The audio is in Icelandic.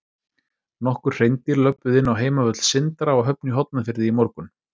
Nokkur hreindýr löbbuðu inn á heimavöll Sindra á Höfn í Hornafirði í morgun.